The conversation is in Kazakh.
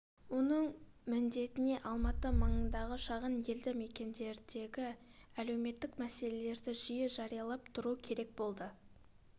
оның міндетіне алматы маңынағы шағын елді мекендердегі әлеуметтік мәселелерді жиі жариялап тұру керек болды